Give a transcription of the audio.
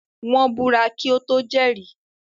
Wọ́n búra kí ó tó jẹ́rìí.